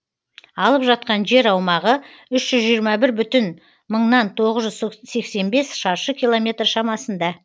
алып жатқан жер аумағы үш жүз жиырма бір бүтін мыңнан тоғыз жүз сексен бес шаршы километр шамасында